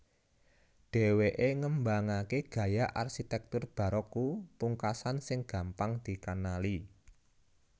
Dhèwèké ngembangaké gaya arsitèktur baroque pungkasan sing gampang dikenali